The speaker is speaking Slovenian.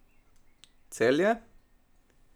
Celje?